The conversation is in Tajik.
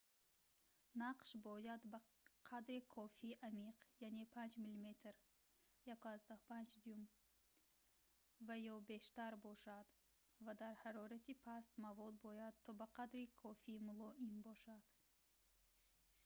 нақш бояд ба қадри кофӣ амиқ яъне 5 мм 1/5 дюйм ва ё бештар бошад ва дар ҳарорати паст мавод бояд то ба қадри кофӣ мулоим бошад